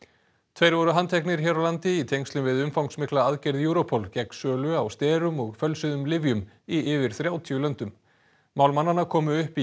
tveir voru handteknir hér á landi í tengslum við umfangsmikla aðgerð Europol gegn sölu á sterum og fölsuðum lyfjum í yfir þrjátíu löndum mál mannanna komu upp í